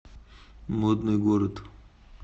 модный город